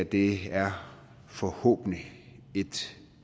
det her er forhåbentlig et